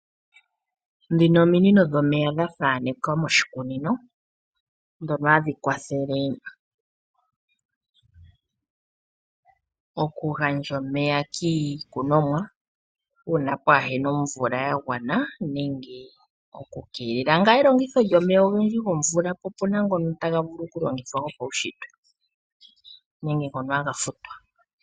Dhino omiinino dhomeya dhathanekwa moshikunino dhono hadhi kwathelele oku gandja omeya kiikunomwa uuna pwaahena omvula ya gwana nenge oku keelela elongitho lyomeya ogendji gomvula popena ngono taga vulu kulongithwa gopaushitwe nenge ngono haga futwa.